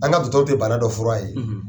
An ka dɔgɔtɔrɔ tɛ bana dɔ fura ye